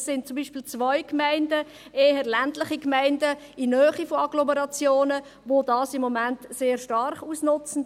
Es sind zum Beispiel zwei Gemeinden, eher ländliche Gemeinden in der Nähe von Agglomerationen, welche dies im Moment sehr stark ausnutzen.